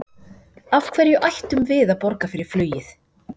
Af hverju ættum við að borga fyrir flugið?